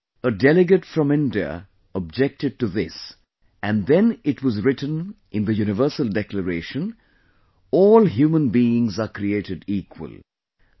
But a Delegate from India objected to this and then it was written in the Universal Declaration "All Human Beings are Created Equal"